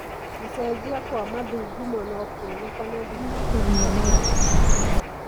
Gũcenjia kwa mathugumo no kuonekane thutha wa kũheo janjo.